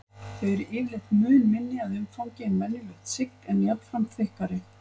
Þau eru yfirleitt mun minni að umfangi en venjulegt sigg en jafnframt þykkari.